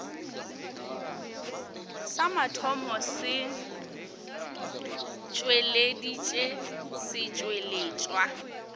sa mathomo se tšweleditše setšweletšwa